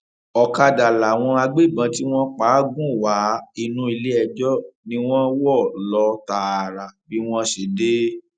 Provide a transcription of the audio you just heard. ọkadà làwọn agbébọn tí wọn pa á gùn wá inú iléẹjọ ni wọn wọ lọ tààrà bí wọn ṣe dé